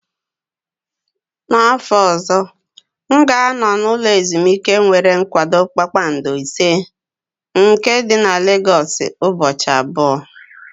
N'afọ ọzọ, m ga-anọ n'ụlọ ezimuike nwere kwado kpakpando ise nke dị na Legosu ụbọchị abụọ.